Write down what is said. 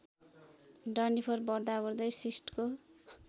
डन्डीफोर बढ्दाबढ्दै सिस्टको